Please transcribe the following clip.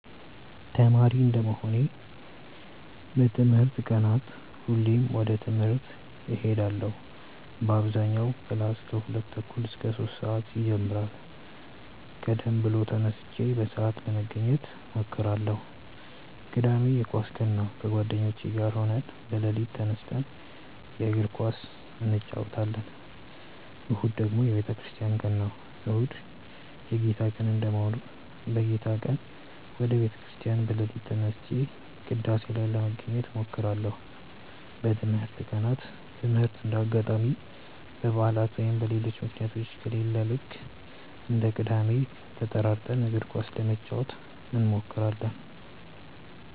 ተማሪ እንደመሆኔ በትምህርት ቀናት ሁሌም ወደ ትምህርት እሄዳለው በአብዛኛው ክላስ ከሁለት ተኩል እስከ ሶስት ሰአት ይጀምራል ቀደም ብዬ ተነስቼ በሰአት ለመገኘት እሞክራለው። ቅዳሜ የኳስ ቀን ነው ከጓደኞቼ ጋር ሆነን በሌሊት ተነስተን የእግር ኳስ እንጨወታለን። እሁድ ደግሞ የቤተክርስቲያን ቀን ነው። እሁድ የጌታ ቀን እንደመሆኑ በጌታ ቀን ወደ ቤተ ክርስቲያን በሌሊት ተነስቼ ቅዳሴ ላይ ለመገኘት እሞክራለው። በትምህርት ቀናት ትምህርት እንደ አጋጣሚ በባዕላት ወይም በሌሎች ምክንያቶች ከሌለ ልክ እንደ ቅዳሜው ተጠራርተን እግር ኳስ ለመጫወት እንሞክራለው።